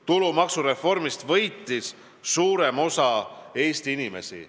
Tulumaksureformist võitis suurem osa Eesti inimesi.